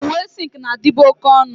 Uwe silk na-adịbu oke ọnụ.